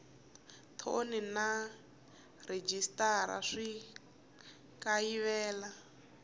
thoni na rhejisitara swi kayivela